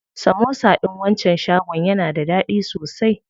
Samosa ɗin wancan shagon yana da daɗi sosai.